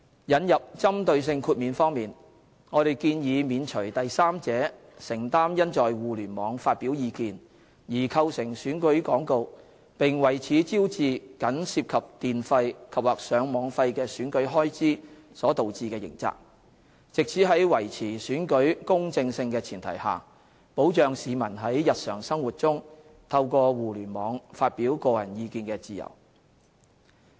引入針對性豁免方面，我們建議免除第三者承擔因在互聯網發表意見而構成選舉廣告，並為此招致僅涉及電費及/或上網費的選舉開支所導致的刑責，以在維持選舉公正性的前提下，保障市民在日常生活中透過互聯網發表個人意見的自由。